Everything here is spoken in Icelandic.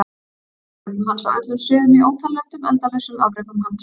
Afrekum hans á öllum sviðum í ótal löndum endalausum afrekum hans?